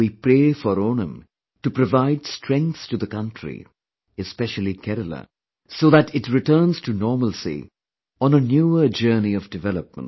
We pray for Onam to provide strength to the country, especially Kerala so that it returns to normalcy on a newer journey of development